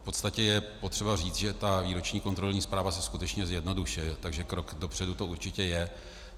V podstatě je potřeba říct, že ta výroční kontrolní zpráva se skutečně zjednodušuje, takže krok dopředu to určitě je.